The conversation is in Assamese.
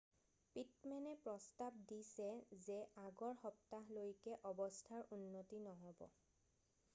পিটমেনে প্ৰস্তাৱ দিছে যে আগৰ সপ্তাহলৈকে অৱস্থাৰ উন্নতি নহ'ব